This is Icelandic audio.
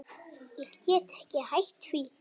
Ég get ekki hætt því.